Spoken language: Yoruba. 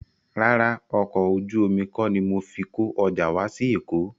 Rárá, ọkọ̀ ojú omi kọ́ ni mo fi kó ọjà wá sí Èkó